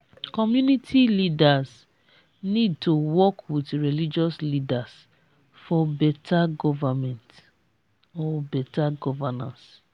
community leaders need to work with religious leaders for beta government or beta governance.